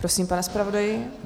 Prosím, pane zpravodaji.